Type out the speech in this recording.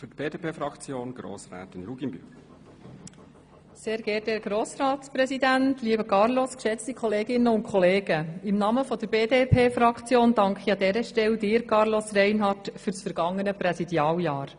Im Namen der BDP-Fraktion danke ich dir, lieber Carlos Reinhard, ganz herzlich für das vergangene Präsidialjahr.